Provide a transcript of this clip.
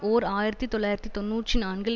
ஓர் ஆயிரத்தி தொள்ளாயிரத்து தொன்னூற்றி நான்கில்